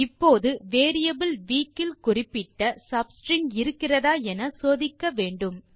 இப்போது variable week இல் குறிப்பிட்ட சப்ஸ்ட்ரிங் இருக்கிறதா என சோதிக்க வேண்டும்